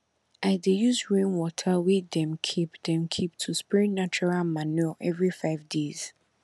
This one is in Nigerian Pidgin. i dey use rainwater wey dem keep dem keep to spray natural manure every five days